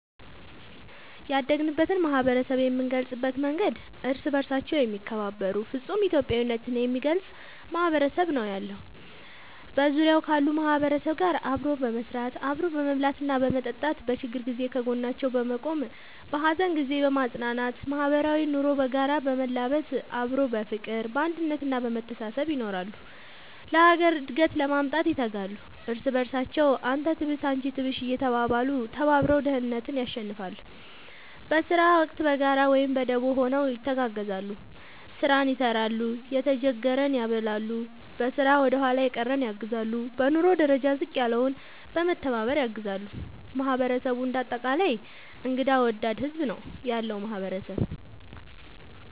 ያደግንበት ማህበረሰብ የምንገልፅበት መንገድ እርስ በርሳቸው የሚከባበሩ ፍፁም ኢትዮጵያዊነት የሚገልፅ ማህበረሰብ ነው ያለው። በዙሪያው ካሉ ማህበረሰብ ጋር አብሮ በመስራት፣ አብሮ በመብላትና በመጠጣት በችግር ጊዜ ከጎናቸው በመቆም በሀዘን ጊዜ በማፅናናት ማህበራዊ ኑሮ በጋራ በመላበስ አብሮ በፍቅር፣ በአንድነት እና በመተሳሰብ ይኖራሉ። ለሀገር እድገት ለማምጣት ይተጋሉ። እርስ በርሳቸው አንተ ትብስ አንቺ ትብሽ እየተባባሉ ተባብረው ድህነትን ያሸንፍለ። በስራ ወቅት በጋራ ወይም በደቦ ሆነው ይተጋገዛሉ ስራን ይሰራል የተጀገረን ያበላሉ፣ በስራ ወደኋላ የቀረን ያግዛሉ፣ በኑሮ ደረጃ ዝቅ ያለውን በመተባባር ያግዛሉ ማህበረሰቡ እንደ አጠቃላይ እንግዳ ወዳድ ህዝብ ነው ያለው ማህበረሰብ ።…ተጨማሪ ይመልከቱ